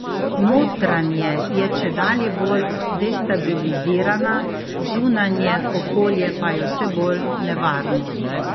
Notranje je čedalje bolj destabilizirana, zunanje okolje pa je vse bolj nevarno.